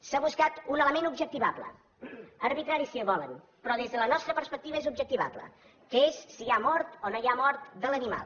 s’ha buscat un element objectivable arbitrari si volen però des de la nostra perspectiva és objectivable que és si hi ha mort o no hi ha mort de l’animal